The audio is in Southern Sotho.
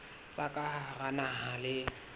tsa ka hara naha le